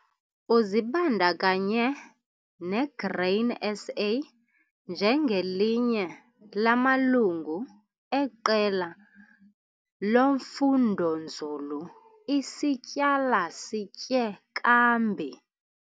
Uzibandakanye neGrain SA njengelinye lamalungu eQela loFundonzulu iSityala Sitye Kambi.